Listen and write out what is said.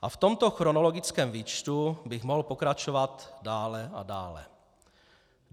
A v tomto chronologickém výčtu bych mohl pokračovat dále a dále.